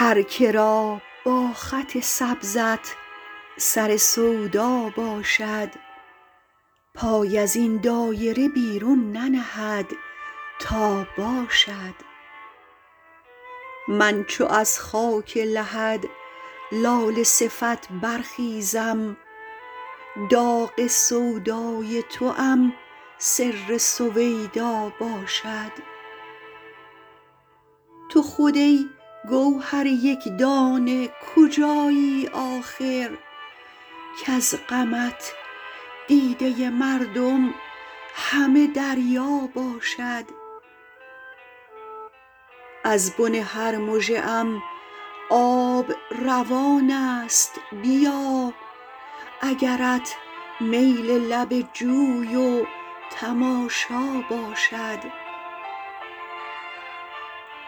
هر که را با خط سبزت سر سودا باشد پای از این دایره بیرون ننهد تا باشد من چو از خاک لحد لاله صفت برخیزم داغ سودای توام سر سویدا باشد تو خود ای گوهر یک دانه کجایی آخر کز غمت دیده مردم همه دریا باشد از بن هر مژه ام آب روان است بیا اگرت میل لب جوی و تماشا باشد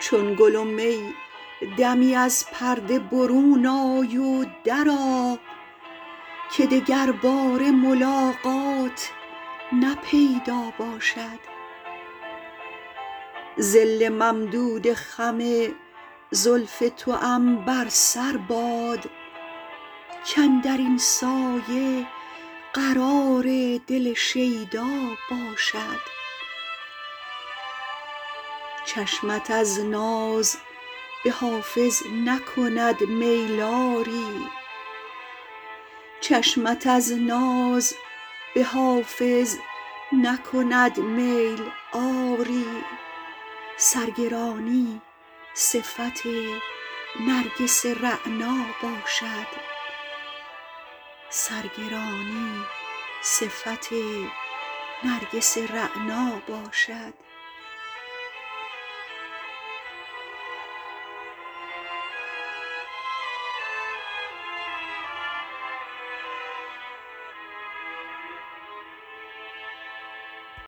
چون گل و می دمی از پرده برون آی و درآ که دگرباره ملاقات نه پیدا باشد ظل ممدود خم زلف توام بر سر باد کاندر این سایه قرار دل شیدا باشد چشمت از ناز به حافظ نکند میل آری سرگرانی صفت نرگس رعنا باشد